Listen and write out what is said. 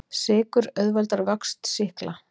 Sykur auðveldar vöxt sýkla.